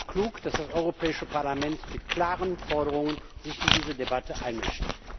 Es ist klug, dass sich das Europäische Parlament mit klaren Forderungen in diese Debatte einmischt.